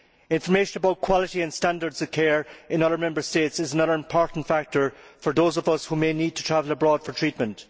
Information about quality and standards of care in other Member States is another important factor for those of us who may need to travel abroad for treatment.